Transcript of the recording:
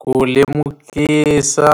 Ku lemukisa